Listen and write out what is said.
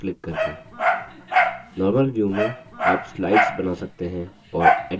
normal view में आप slides बना सकते हैं और edit कर सकते हैं